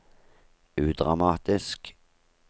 udramatisk